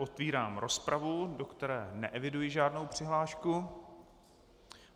Otevírám rozpravu, do které neeviduji žádnou přihlášku.